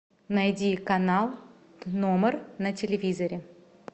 найди канал т номер на телевизоре